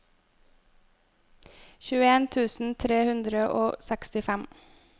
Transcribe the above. tjueen tusen tre hundre og sekstifem